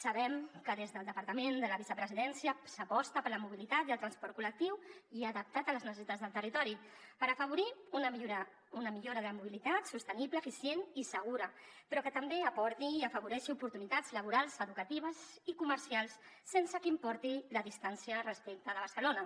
sabem que des del departament de la vicepresidència s’aposta per la mobilitat i el transport col·lectiu i adaptat a les necessitats del territori per afavorir una millora de la mobilitat sostenible eficient i segura però que també aporti i afavoreixi oportunitats laborals educatives i comercials sense que importi la distància respecte de barcelona